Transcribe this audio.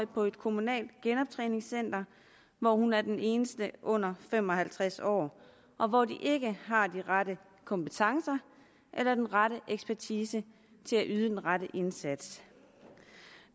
på et kommunalt genoptræningscenter hvor hun er den eneste under fem og halvtreds år og hvor de ikke har de rette kompetencer eller den rette ekspertise til at yde den rette indsats